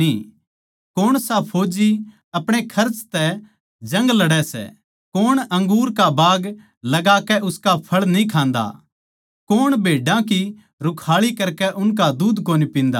कौण सा फौज्जी अपणे खर्च तै जंग लड़ै सै कौण अंगूर का बाग लगाकै उसका फळ न्ही खान्दा कौण भेड्डां की रूखाळी करकै उनका दूध कोनी पिन्दा